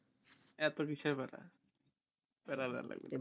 এতো কিসের প্যারা প্যারা লাগবে